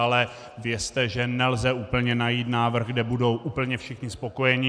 Ale vězte, že nelze úplně najít návrh, kde budou úplně všichni spokojeni.